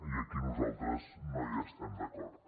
i aquí nosaltres no hi estem d’acord